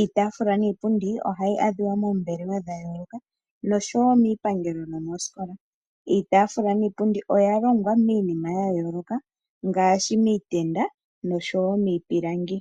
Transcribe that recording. Iitafula niipundi ohayi adhiwa moombelewe dhayoloka noshowo miipangelo nomooskola. Iitafula niipundi oyalongwa miinima yayoloka ngaashi miitenda noshowo miipilangi.